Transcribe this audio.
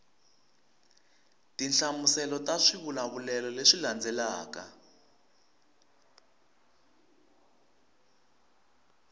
tinhlamuselo ta swivulavulelo leswi landzelaka